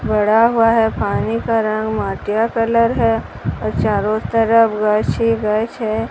बड़ा हुआ है पानी का रंग माटिया कलर है और चारों तरफ गछ ही गछ है।